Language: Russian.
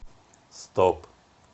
стоп